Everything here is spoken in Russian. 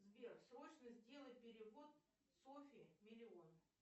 сбер срочно сделай перевод софьи миллион